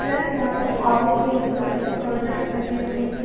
Plus यहाँ पर orange yellow colour के कर्टन्स लगे हुए हैं।